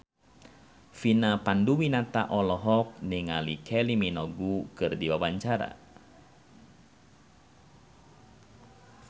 Vina Panduwinata olohok ningali Kylie Minogue keur diwawancara